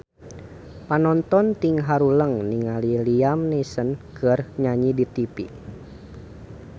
Panonton ting haruleng ningali Liam Neeson keur nyanyi di tipi